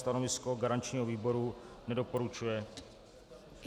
Stanovisko garančního výboru: nedoporučuje.